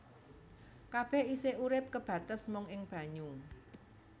Kabèh isih urip kebates mung ing banyu